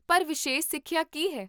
ਪਰ, ਵਿਸ਼ੇਸ਼ ਸਿੱਖਿਆ ਕੀ ਹੈ?